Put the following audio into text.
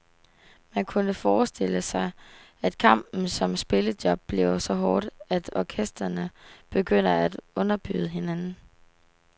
Man kunne forestille sig, at kampen om spillejob bliver så hård, at orkestrene begynder at underbyde hinanden.